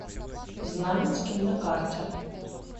знаменский на карте